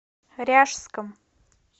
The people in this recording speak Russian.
ряжском